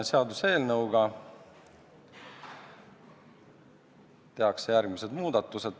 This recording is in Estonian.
Seaduseelnõuga tehakse järgmised muudatused.